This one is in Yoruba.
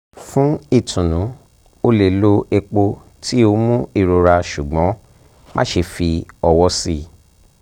fun itunu o le lo epo ti o mu irora ṣugbọn maṣe fi ọwọ sii